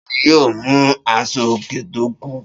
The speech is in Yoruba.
Ta ni yóò mú aṣọòkè tó kù